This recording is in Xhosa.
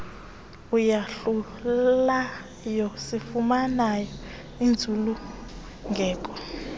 eyadlulayo sifumane intsulungeko